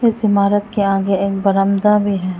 इस इमारत के आगे एक बरामदा भी है।